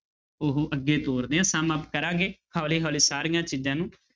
ਉਹ ਅੱਗੇ ਤੋਰਦੇ ਹਾਂ sum-up ਕਰਾਂਗੇ ਹੌਲੀ ਹੌਲੀ ਸਾਰੀਆਂ ਚੀਜ਼ਾਂ ਨੂੰ।